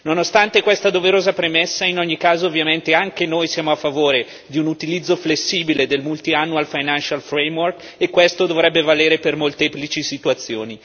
Nonostante questa doverosa premessa in ogni caso ovviamente anche noi siamo a favore di un utilizzo flessibile del Multiannual Financial Framework e questo dovrebbe valere per molteplici situazioni.